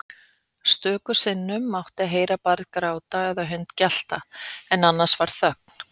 Stöku sinnum mátti heyra barn gráta eða hund gelta en annars var þögn.